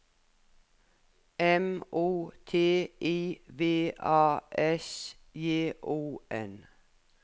M O T I V A S J O N